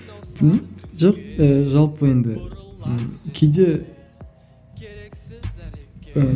жоқ ііі жалпы енді ммм кейде ііі